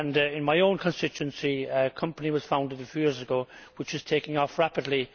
In my own constituency a company was founded a few years ago which is taking off rapidly.